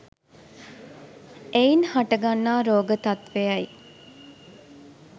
එයින් හට ගන්නා රෝග තත්වයයි.